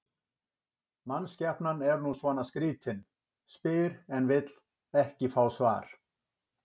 Mannskepnan er nú svona skrýtin, spyr en vill ekki fá svar.